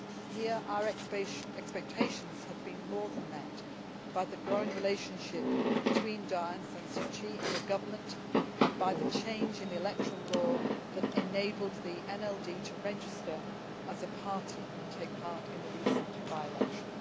Here our expectations have been more than met by the growing relationship between Daw Aung San Suu Kyi and the government, and by the change in the electoral law that enabled the NLD to register as a party and take part in the recent by election.